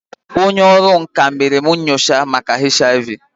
Onye ọrụ nka mere m nyocha ụlọ nyocha maka HIV